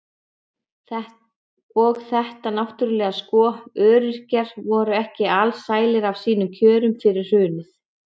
Og þetta náttúrulega sko, öryrkjar voru ekki alsælir af sínum kjörum fyrir hrunið.